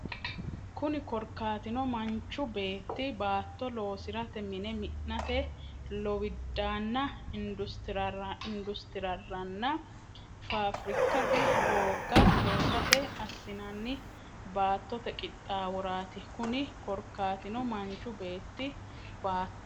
Kunni korkaatino manchu beetti baatto loosi’rate, mine mi’nate, lowiddaanna industirraranna faafirikkate, doogga loosate assinanni baattote qixxaaworaati Kunni korkaatino manchu beetti baatto.